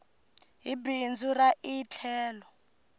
hi bindzu ra ie tlhelo